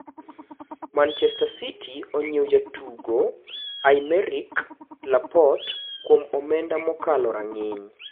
Machester City onyiewo jadugo Aymeric Laporte kwom omenda mokalo rang'iny